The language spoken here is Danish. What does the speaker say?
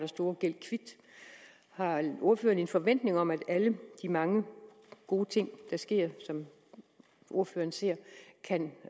store gæld kvit har ordføreren en forventning om at alle de mange gode ting der sker og som ordføreren ser kan